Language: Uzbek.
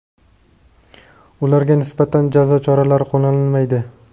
ularga nisbatan jazo choralari qo‘llanilmaydi.